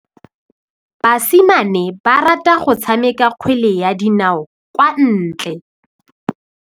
Basimane ba rata go tshameka kgwele ya dinaô kwa ntle.